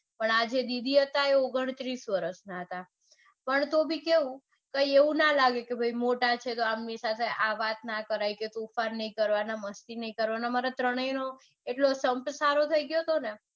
પણ આ જે દીદી હતા એ ઓગણત્રીસ વરસના હતા. પણ તો બી કેવું કે એવું ના લાગે કે તો તોફાન નઇ કરવાં કે મસ્તી નઈ કરવાન અમર ત્રણેયનો સંપ એવો ગયો તો કે.